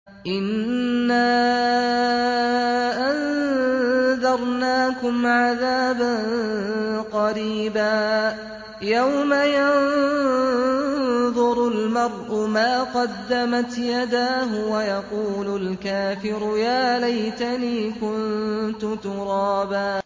إِنَّا أَنذَرْنَاكُمْ عَذَابًا قَرِيبًا يَوْمَ يَنظُرُ الْمَرْءُ مَا قَدَّمَتْ يَدَاهُ وَيَقُولُ الْكَافِرُ يَا لَيْتَنِي كُنتُ تُرَابًا